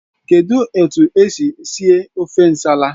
Kedụ etu isi sie ofe nsala?